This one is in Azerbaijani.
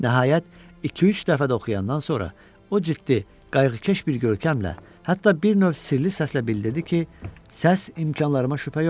Nəhayət, iki üç dəfə də oxuyandan sonra o ciddi, qayğıkeş bir görkəmlə, hətta bir növ sirli səslə bildirdi ki, səs imkanlarıma şübhə yoxdur.